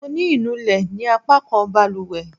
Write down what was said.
Mo ní inú lè ní apakan baluwe